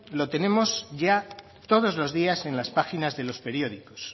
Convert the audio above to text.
lo tenemos ya todos los días en las páginas de los periódicos